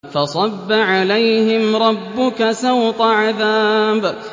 فَصَبَّ عَلَيْهِمْ رَبُّكَ سَوْطَ عَذَابٍ